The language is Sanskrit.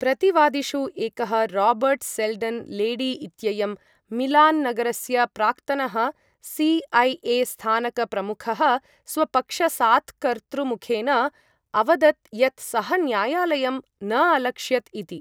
प्रतिवादिषु एकः राबर्ट् सेल्डन् लेडी इत्ययं मिलान् नगरस्य प्राक्तनः सि.ऐ.ए स्थानकप्रमुखः स्वपक्षसात्कर्तृमुखेन अवदत् यत् सः न्यायालयं न अलक्षयत् इति।